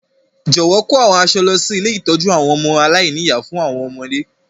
Jọ̀wọ́ kò àwọn aṣọ lọ si ilé ìtójú àwon ọmọ aláìní-ìyá fún àwọn ọmọdé.